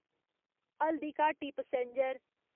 Haldighati passenger